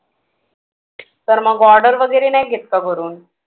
तर मग order वगैरे नाही घेत का घरून